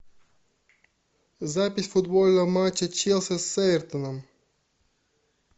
запись футбольного матча челси с эвертоном